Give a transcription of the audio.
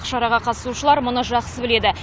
шараға қатысушылар мұны жақсы біледі